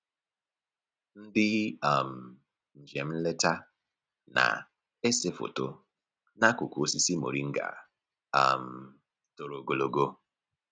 Ndị um njem nleta na-ese foto n'akụkụ osisi moringa um toro ogologo